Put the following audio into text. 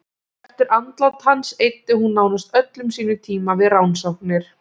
Eftir andlát hans eyddi hún nánast öllum sínum tíma við rannsóknir.